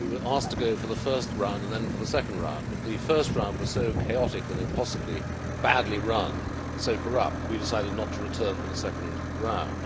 We were asked to go for the first round and then for the second round, but the first round was so chaotic and impossibly badly run, so corrupt, that we decided not to return for the second round.